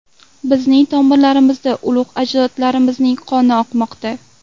Bizning tomirlarimizda ulug‘ ajdodlarimizning qoni oqmoqda.